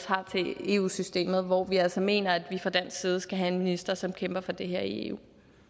har til eu systemet hvor vi altså mener at vi fra dansk side skal have en minister som kæmper for det her i eu